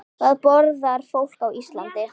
Hvað borðar fólk á Íslandi?